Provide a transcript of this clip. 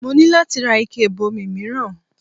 Mo ní láti ra ike ìbomi mìíràn